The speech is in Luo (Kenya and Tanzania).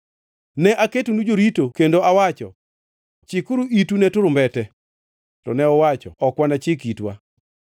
Ne aketonu jorito kendo awacho, ‘Chikuru itu ne turumbete!’ To ne uwacho, ‘Ok wanachik itwa.’